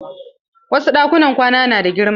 Wasu ɗakunan kwana na da girma.